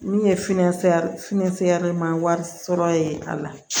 Min ye finɛnɛ finnɛ ma wari sɔrɔ ye a la